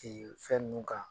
fɛn ninnu kan.